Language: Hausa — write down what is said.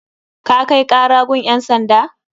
Ka kai kara gun ƴan sanda?